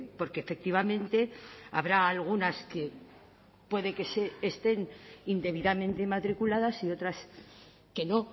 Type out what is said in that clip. porque efectivamente habrá algunas que puede que estén indebidamente inmatriculadas y otras que no